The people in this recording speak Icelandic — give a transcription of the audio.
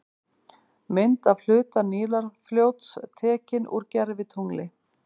Mynd af hluta Nílarfljóts, tekin úr gervitungli.